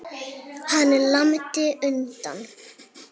Hann lamdi hunda